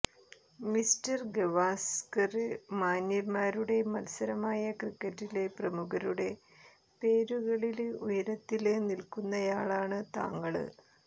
mister Gavaskar മാന്യന്മാരുടെ മത്സരമായ ക്രിക്കറ്റിലെ പ്രമുഖരുടെ പേരുകളില് ഉയരത്തില് നില്ക്കുന്നയാളാണ് താങ്കള്